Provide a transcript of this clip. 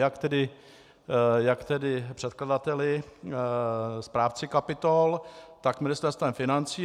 Jak tedy předkladateli, správci kapitol, tak Ministerstvem financí.